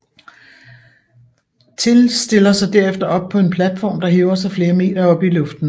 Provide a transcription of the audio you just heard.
Till stiller sig derefter op på en platform der hæver sig flere meter op i luften